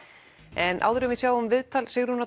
en áður en við sjáum viðtal Sigrúnar